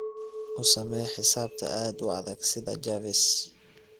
u samee xisaabta aad u adag sida jarvis